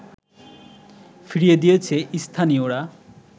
ফিরিয়ে দিয়েছে স্থানীয়রা